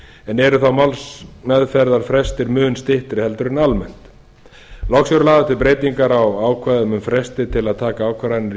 en eru þá málsmeðferðarfrestir mun styttri en almennt loks eru lagaðar til breytingar um ákvðarnair um fresti til að taka ákvarðanir